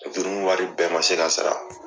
Juru wari bɛɛ man se ka sara.